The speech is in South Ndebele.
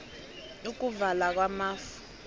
ukuvala kwamafu